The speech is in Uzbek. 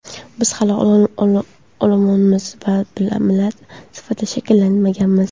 Biz hali olomonmiz, millat sifatida shakllanmaganmiz.